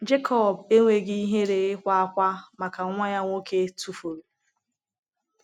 Jekọb enweghị ihere ịkwa ákwá maka nwa ya nwoke tụfuru.